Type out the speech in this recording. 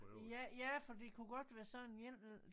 Ja ja for det kunne godt være sådan en